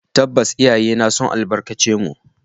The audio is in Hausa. Tabbas, iyayena sun albarkace mu